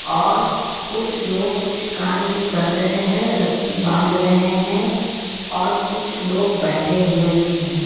और कुछ लोग कुछ कार्य भी कर रहे हैं रस्सी बाँध रहे हैं और कुछ लोग बैठे हुए भी हैं.